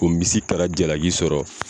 O misikara jalaki sɔrɔ